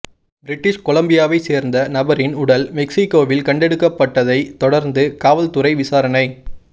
British கொலம்பியாவை சேர்ந்த நபரின் உடல் மெக்சிகோவில் கண்டெடுக்கப்பட்டதை தொடர்ந்து காவல்துறை விசாரணை